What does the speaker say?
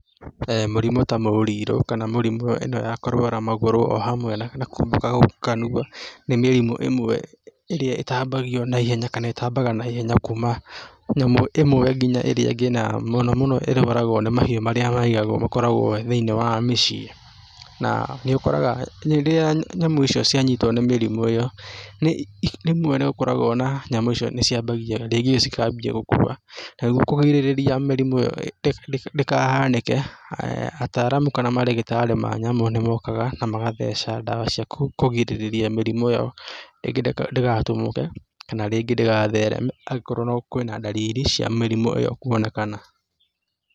Mũrimũ ta mũrirũ kana mĩrimũ ĩno ya kũrwara magũrũ o hamwe na kwamboka kanua nĩ mĩrimũ ĩmwe ĩrĩa ĩtambagio naihenya kana ĩtambaga naihenya kuma nyamũ ĩmwe nginya ĩrĩa ĩngĩ na mũno mũno ĩrwaragwo nĩ mahiũ marĩa maigagwo, makoragwo thĩinĩ wa mĩciĩ na nĩũkoraga rĩrĩa nyamũ icio cia nyitwo nĩ mĩrimũ ĩyo nĩi rĩmwe nĩ ũkoragwo na nyamũ icio nĩ ciambagia rĩngĩ cikambia gũkua, nĩguo kũgirĩrĩria mĩrimu ĩyo ndĩkahanĩke ataramu kana marĩgĩtarĩ ma nyamũ nĩmokaga na magathecha dawa cia kũgirĩrĩria mĩrimũ ĩyo rĩngĩ ndĩgatumũke kana rĩngĩ ndĩgathereme angĩkorwo kwĩna ndariri cia mĩrimũ ĩyo kwonekana.